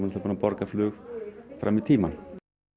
búin að borga flug fram í tímann